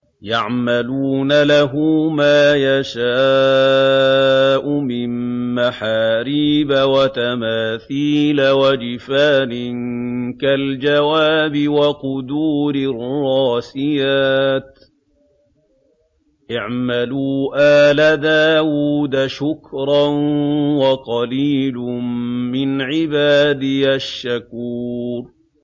يَعْمَلُونَ لَهُ مَا يَشَاءُ مِن مَّحَارِيبَ وَتَمَاثِيلَ وَجِفَانٍ كَالْجَوَابِ وَقُدُورٍ رَّاسِيَاتٍ ۚ اعْمَلُوا آلَ دَاوُودَ شُكْرًا ۚ وَقَلِيلٌ مِّنْ عِبَادِيَ الشَّكُورُ